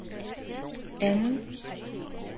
anden